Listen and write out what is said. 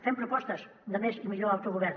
fem propostes de més i millor autogovern